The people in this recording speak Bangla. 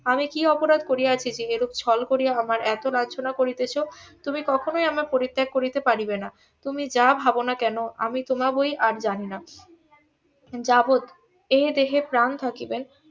আমি কি অপরাধ করিয়াছি যে এরূপ ছল করিয়া আমায় এত লাঞ্ছনা করিতেছ তুমি কখনোই আমায় পরিত্যাগ করিতে পারিবেনা তুমি যা ভাব না কেন আমি তোমাগোই আর জানি না যাবৎ এ দেহে প্রাণ থাকিবে